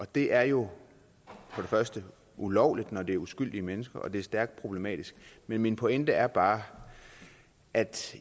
det er jo ulovligt når det er uskyldige mennesker og det er stærkt problematisk men min pointe er bare at